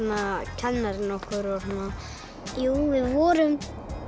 kennarinn okkur við vorum